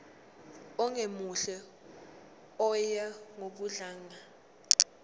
ongemuhle oya ngokudlanga